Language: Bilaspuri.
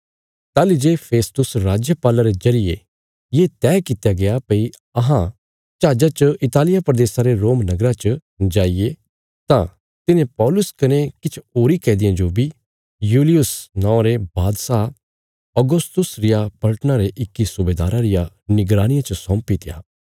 ताहली जे फिस्तुस राजपाला रे जरिये ये तैह कित्या गया भई अहां जहाजा च इतालिया प्रदेशा रे रोम नगरा च जाईये तां तिन्हें पौलुस कने किछ होरीं कैदियां जो बी यूलियुस नौआं रे बादशाह औगस्तुस रिया पलटना रे इक्की सुबेदारा रिया निगरानिया च सौंपीत्या